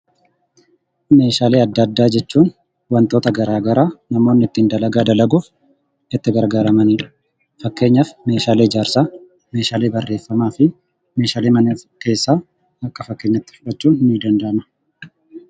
Meeshaalee adda addaa jechuun wantoota garaa garaa namoonni ittiin dalagaa dalaguuf itti gargaaramanidha. Fakkeenyaaf meeshaalee ijaarsaa, meeshaalee barreeffamaa fi meeshaalee mana keessaa akka fakkeenyaatti fudhachuun ni danda'ama.